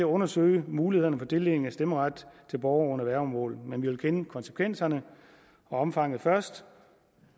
undersøge mulighederne for tildeling af stemmeret til borgere under værgemål men vi vil så kende konsekvenserne og omfanget først